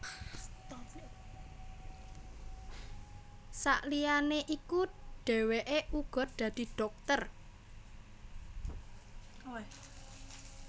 Sakliyané iku dhèwèké uga dadi dhokter